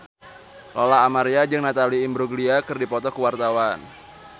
Lola Amaria jeung Natalie Imbruglia keur dipoto ku wartawan